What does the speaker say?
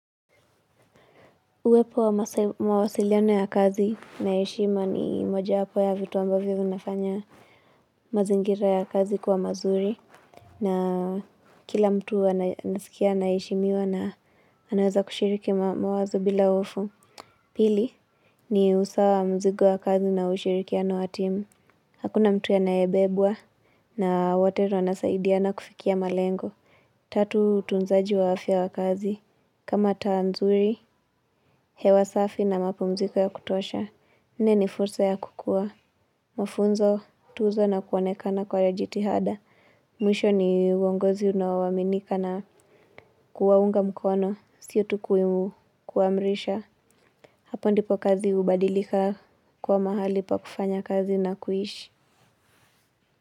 Uwepo wa mawasiliano ya kazi na heshima ni mojawapo ya vitu ambavyo vinafanya mazingira ya kazi kwa mazuri. Na kila mtu anasikia anaheshimiwa na anaweza kushiriki mawazo bila hofu. Pili ni usawa wa mzigo wa kazi na ushirikiano wa timu. Hakuna mtu anayebebwa na wote wanasaidia kufikia malengo. Tatu utunzaji wa afya ya kazi. Kama taa nzuri, hewa safi na mapumziko ya kutosha. Nne ni fursa ya kukua. Mafunzo, kutuzwa na kuonekana kwa jitihada. Mwisho ni wongozi unao aminika na kuwaunga mkono. Sio tu kuamrisha. Hapo ndipo kazi hubadilika kwa mahali pa kufanya kazi na kuishi.